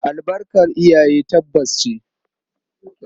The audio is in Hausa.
Albarkar iyaye tabbas ce.